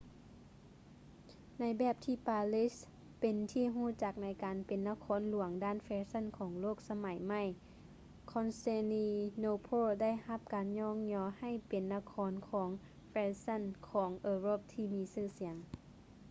ໃນແບບທີ່ປາຣີເປັນທີ່ຮູ້ຈັກໃນການເປັນນະຄອນຫຼວງດ້ານແຟຊັ່ນຂອງໂລກສະໄໝໃໝ່ constantinople ໄດ້ຮັບການຍ້ອງຍໍໃຫ້ເປັນນະຄອນຫຼວງຂອງແຟຊັ່ນຂອງເອີຣົບທີ່ມີຊື່ສຽງ